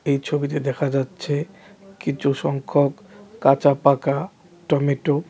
এই ছবিতে দেখা যাচ্ছে কিছু সংখ্যক কাঁচা পাঁকা টমেটো .